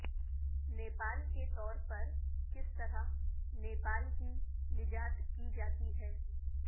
نیپال کے طور پر کس طرح نیپال کی نجات کی جاتی ہے